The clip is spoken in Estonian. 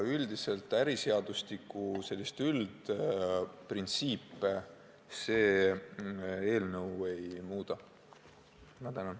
Üldiselt meie eelnõu äriseadustiku üldprintsiipe muuta ei taha.